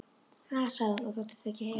Ha, sagði hún og þóttist ekki heyra.